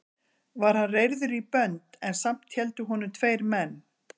Var hann reyrður í bönd en samt héldu honum tveir menn.